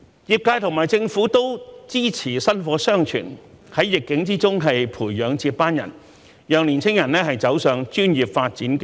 業界與政府都支持薪火相傳，在逆境中培養接班人，讓年青人走上專業發展道路。